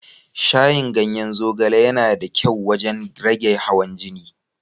Shayin ganyen zogale yana da kyau wajen rage hawan jini.